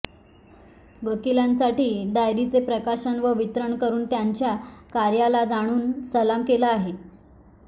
वकिलांसाठी डायरीचे प्रकाशन व वितरण करुन त्यांच्या कार्याला जणू सलाम केला आहे